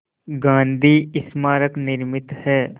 गांधी स्मारक निर्मित है